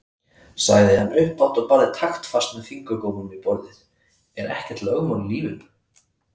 sagði hann upphátt og barði taktfast með fingurgómunum í borðið:-Er ekkert lögmál í lífinu!